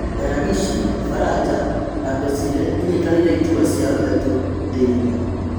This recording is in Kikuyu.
Belagishi, Faraja na Bazile inyitĩrĩire iturwa ciao ithatũ thĩ ng'ima.